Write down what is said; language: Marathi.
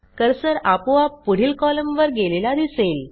कर्सर आपोआप पुढील कॉलमवर गेलेला दिसेल